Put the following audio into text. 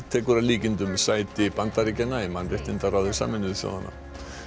tekur að líkindum sæti Bandaríkjanna í mannréttindaráði Sameinuðu þjóðanna